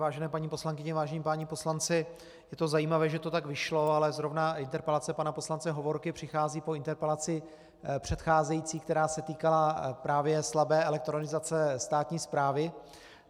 Vážené paní poslankyně, vážení páni poslanci, je to zajímavé, že to tak vyšlo, ale zrovna interpelace pana poslance Hovorky přichází po interpelaci předcházející, která se týkala právě slabé elektronizace státní správy.